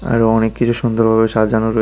আরো অনেক কিছু সুন্দরভাবে সাজানো রয়ে--